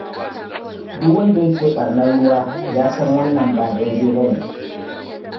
Duk wanda yake ɓarnar ruwa ya san wannan ba daidai ba ne.